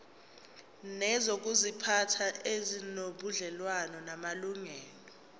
nezokuziphatha ezinobudlelwano namalungelo